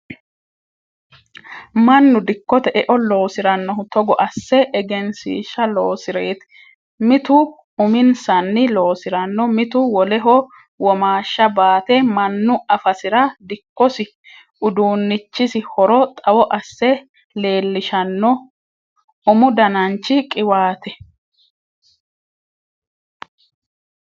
Mannu dikkote eo losiranohu togo asse egenshiishsha loosireti mitu uminsanni loosirano mitu woleho womaasha baate mannu affasira dikkosi uduunichisi horo xawo asse leelishano, umu danachi qiwate